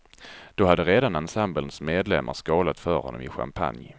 Då hade redan ensemblens medlemmar skålat för honom i champagne.